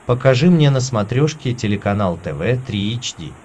покажи мне на смотрешке телеканал тв три эйч ди